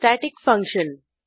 static function